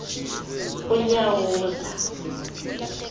unyawuza